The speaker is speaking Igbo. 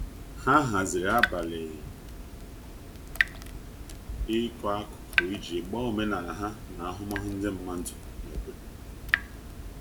ha haziri abali iko akụkụ iji gbaa omenala ha na ahụmahụ ndi madụ n'obodo